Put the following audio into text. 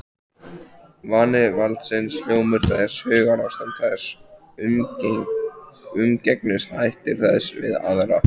Vani valdsins, hljómur þess, hugarástand þess, umgengnishættir þess við aðra.